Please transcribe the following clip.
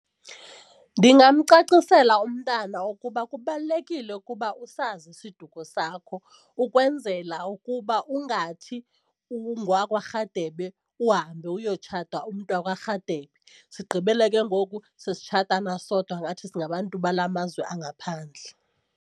Ndingamcacisela umntana ukuba kubalulekile ukuba usazi isiduko sakho ukwenzela ukuba ungathi ungowakwaRhadebe uhambe uyotshata umntu wakwaRhadebe sigqibele ke ngoku sesitshatana sodwa ngathi singabantu bala mazwe angaphandle.